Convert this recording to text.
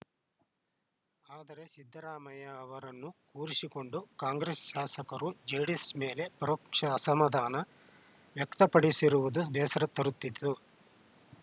ಆದರೆ ಸಿದ್ದರಾಮಯ್ಯ ಅವರನ್ನು ಕೂರಿಸಿಕೊಂಡು ಕಾಂಗ್ರೆಸ್‌ ಶಾಸಕರು ಜೆಡಿಎಸ್‌ ಮೇಲೆ ಪರೋಕ್ಷ ಅಸಮಾಧಾನ ವ್ಯಕ್ತಪಡಿಸಿರುವುದು ಬೇಸರ ತರುತಿತ್ತು